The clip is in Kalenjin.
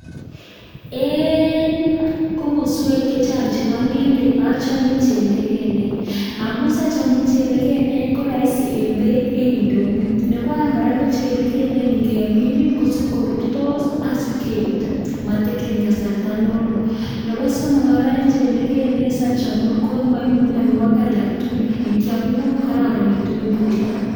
En komoswek che chang chebo ng'endek achame chelegenen. Amun siachame chelegenen ko amun roisi en beit en ndonyo. Nebo oeng' kora ko chelegenen ngemin kosib korurtos ak sibkebut, mo tekeni kasarta ne loo. Nebo somok koraen chelegenen asiachame ko moibu mianwogik alak tugul in kyam kororonitu en borto.